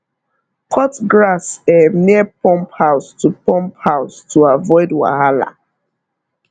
cut grass um near pump house to pump house to avoid wahala